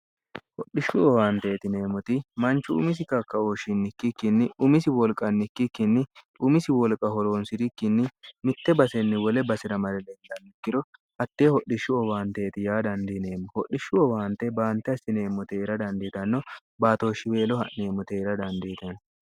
hodhishshu owaanteetineemmoti manchu umisi kakka ooshshinnikki kinni umisi wolqannikki kinni umisi wolqa holoonsi'rikkinni mitte basenni wole basi'ra mare leennammikkiro hattee hodhishshu owaanteeti yaa dandiineemmo hodhishshu owaante baante hasineemmoteera dandiitanno baatooshshiweelo ha'neemmoteera dandiitenno